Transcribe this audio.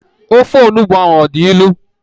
Ofe onugbu ahụ ọ dị ilu?